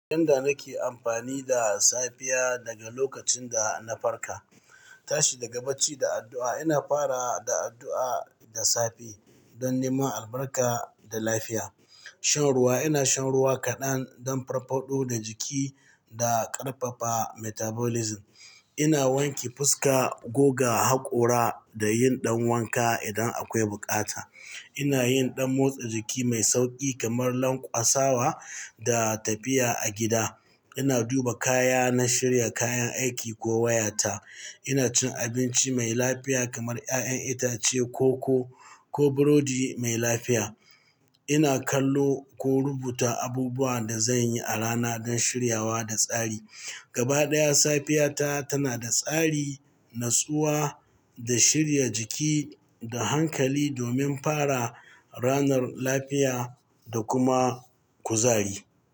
Yanda nake amfani da safiya daga lokacin da na farka. Tashi daga bacci da addu'a, ina fara da addu'a da safe don neman albarka da lafiya. Shan ruwa, ina shan ruwa kaɗan don farfaɗo da jiki da ƙarfafa metabolism. Ina wanke fuska, goga hakora da yin ɗan wanka idan akwai bukata. Ina yin ɗan motsa jiki mai sauƙi kamar lanƙwasawa da tafiya a gida. Ina duba kaya na shirya kayan aiki ko wayata. Ina cin abinci mai lafiya kamar ƴaƴan itace, koko ko burodi mai lafiya. Ina kallo ko rubuta abubuwan da zan yi a rana don shiryawa da tsari. Gaba ɗaya, safiyata tana da tsari, natsuwa, da shirya jiki da hankali domin fara ranar lafiya da kuma kuzari.